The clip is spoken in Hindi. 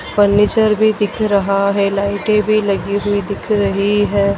फर्नीचर भी दिख रहा है। लाइटें भी लगी हुई दिख रही है।